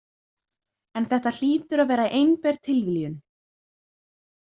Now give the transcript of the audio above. En þetta hlýtur að vera einber tilviljun.